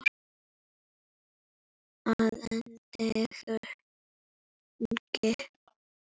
Að endingu